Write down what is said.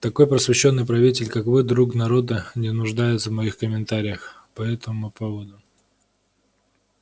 такой просвещённый правитель как вы друг народа не нуждается в моих комментариях по этому поводу